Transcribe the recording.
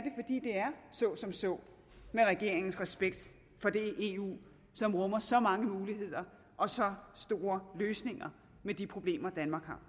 så som så med regeringens respekt for det eu som rummer så mange muligheder og så store løsninger på de problemer danmark har